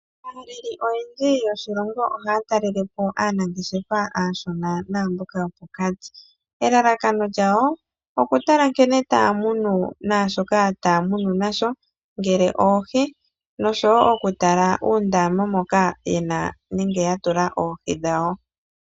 Aaleli oyendji yoshilongo ohaya talelepo aanangeshefa aashona naamboka yopokati. Elalakano lyawo okutala nkene taya munu nashoka taya munu nasho, ngele oohi, noshowo okutala uundama moka ya tula oohi dhawo.